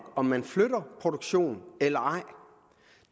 om man flytter produktionen eller ej